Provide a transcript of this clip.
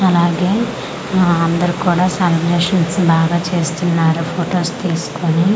అలాగే ఆ అందరు కూడ సలబ్రేషన్స్ బాగా చేస్తున్నారు ఫోటోస్ తీస్కోని.